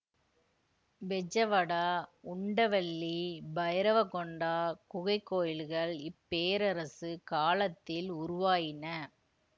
பெஜவடா உண்டவல்லி பைரவகொண்டா குகைக் கோயில்கள் இப்பேரரசு காலத்தில் உருவாயின